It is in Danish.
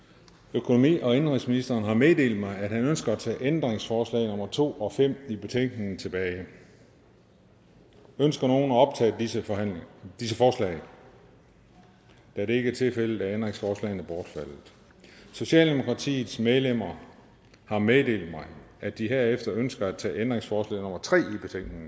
økonomi og indenrigsministeren har meddelt mig at han ønsker at tage ændringsforslag nummer to og fem i betænkningen tilbage ønsker nogen at optage disse disse forslag da det ikke er tilfældet er ændringsforslagene bortfaldet socialdemokratiets medlemmer har meddelt mig at de herefter ønsker at tage ændringsforslag nummer tre